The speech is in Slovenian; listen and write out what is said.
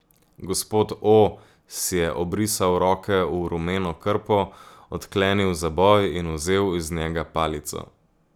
Gospod O si je obrisal roke v rumeno krpo, odklenil zaboj in vzel iz njega palico.